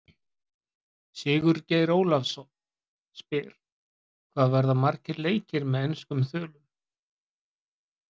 Sigurgeir Ólafsson spyr: Hvað verða margir leikir með enskum þulum?